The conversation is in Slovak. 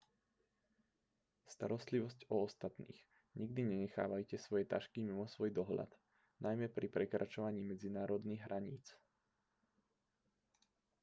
starostlivosť o ostatných nikdy nenechávajte svoje tašky mimo svoj dohľad najmä pri prekračovaní medzinárodných hraníc